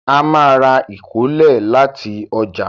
A má ra ìkólẹ̀ láti ọjà